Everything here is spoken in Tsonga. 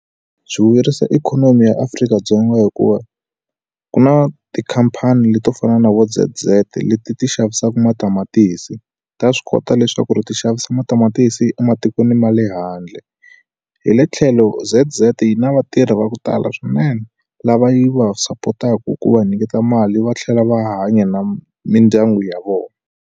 Byi vuyerisa ikhonomi ya Afrika-Dzonga hikuva ku na tikhampani leti to fana na vo Z_z leti ti xavisaku matamatisi ta swi kota leswaku ri ti xavisa matamatisi ematikweni ma le handle hi le tlhelo Z_z yi na vatirhi va ku tala swinene lava yi va support-ku va nyiketa mali va tlhela va hanya na mindyangu ya vona.